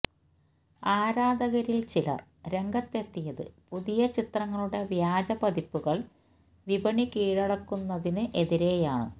ആരാധകരില് ചിലര് രംഗത്തെത്തിയത് പുതിയ ചിത്രങ്ങളുടെ വ്യാജ പതിപ്പുകള് വിപണി കീഴടക്കുന്നതിന് എതിരെയാണ്